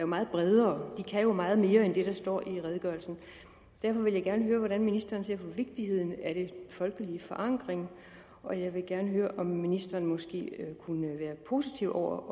meget bredere de kan jo meget mere end det der står i redegørelsen og derfor vil jeg gerne høre hvordan ministeren ser på vigtigheden af den folkelige forankring og jeg vil gerne høre om ministeren måske kunne være positiv over